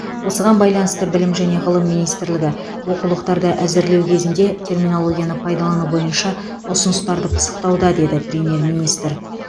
осыған байланысты білім және ғылым министрлігі оқулықтарды әзірлеу кезінде терминологияны пайдалану бойынша ұсыныстарды пысықтауда деді премьер министр